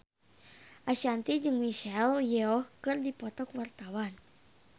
Ashanti jeung Michelle Yeoh keur dipoto ku wartawan